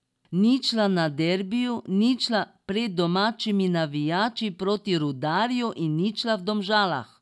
Ničla na derbiju, ničla pred domačimi navijači proti Rudarju in ničla v Domžalah.